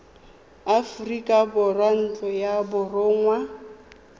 aforika borwa ntlo ya borongwa